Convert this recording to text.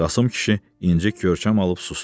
Qasım kişi incik görkəm alıb susdu.